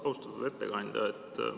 Austatud ettekandja!